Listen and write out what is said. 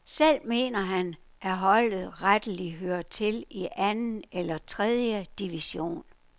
Selv mener han, at holdet retteligt hører til i anden eller tredje division.